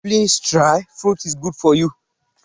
Please try, fruit is good for you.